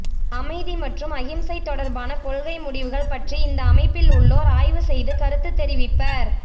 அமைதி மற்றும் அகிம்சை தொடர்பான கொள்கை முடிவுகள் பற்றி இந்த அமைப்பில் உள்ளோர் ஆய்வு செய்து கருத்து தெரிவிப்பர்